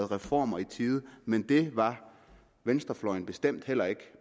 reformer men det var venstrefløjen bestemt heller ikke